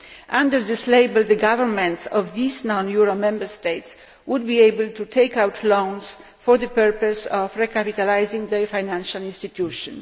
Under this label the governments of these non euro Member States would be able to take out loans for the purpose of recapitalising the financial institution.